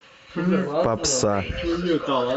попса